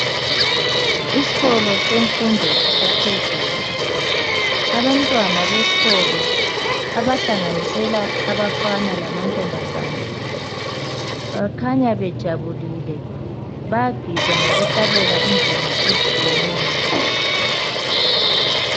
Isikolo semfundo yaphezulu ,abantwana besikolo abahlanganisela abafana lamantombazana bakhanya bejabulile bayagida ngokuhlabela ingoma ezitshiyeneyo.